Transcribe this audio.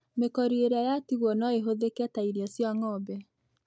Mĩkori ĩrĩa yatigwo noĩhũthĩke ta irio cia ng'ombe.